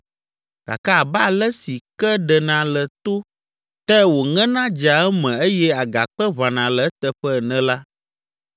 “Gake abe ale si ke ɖena le to te wòŋena dzea eme eye agakpe ʋãna le eteƒe ene la,